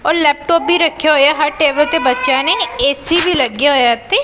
ਔਰ ਲੈਪਟੌਪ ਵੀ ਰੱਖੇ ਹੋਏਆ ਹਰ ਟੇਬਲ ਤੇ ਬਚੇਆਂ ਨੇਂ ਏ_ਸੀ ਵੀ ਲੱਗਿਆ ਹੋਇਆ ਹੈ ਉੱਥੇ ।